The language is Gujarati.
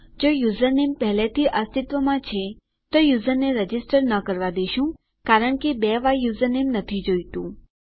જો યુઝરનેમ પહેલાથી અસ્તિત્વમાં છે તો યુઝરને રજીસ્ટર ન કરવાં દેશું કારણ કે બે વાર યુઝરનેમ નથી જોઈતું